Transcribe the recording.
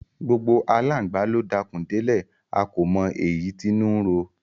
Gbogbo aláǹgbà ló dakùn délẹ̀, a kò mọ èyí tínú ń ro.